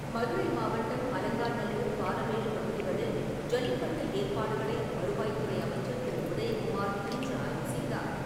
மதுரை மாவட்டம் அலங்காநல்லூர், பாலமேடு பகுதிகளில் ஜல்லிக்கட்டு ஏற்பாடுகளை வருவாய்த்துறை அமைச்சர் திரு. உதயகுமார் இன்று ஆய்வு செய்தார்.